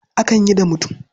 Akan yi da mutum.